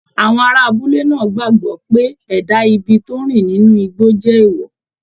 Àwọn ará abúlé náà gbàgbọ́ pé ẹ̀dá ibi tó ń rìn nínú igbó jẹ́ èèwọ̀